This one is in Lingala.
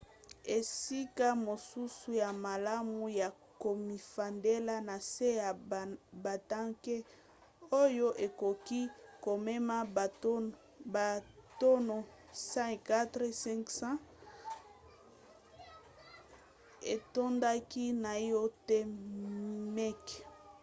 esika mosusu ya malamu ya komifandela na se ya batanke oyo ekoki komema batono 104 500 etondaki naino te meke